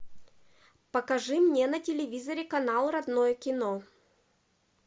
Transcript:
покажи мне на телевизоре канал родное кино